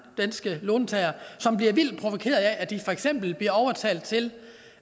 danske låntagere som bliver vildt provokeret af at de for eksempel bliver overtalt til